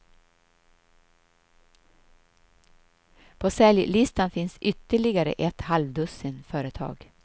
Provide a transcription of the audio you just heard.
På säljlistan finns ytterligare ett halvdussin företag.